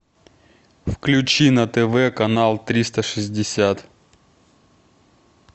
включи на тв канал триста шестьдесят